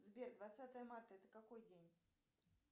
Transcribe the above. сбер двадцатое марта это какой день